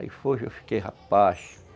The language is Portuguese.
Aí foi que eu fiquei rapaz.